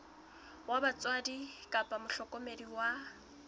wa batswadi kapa mohlokomedi wa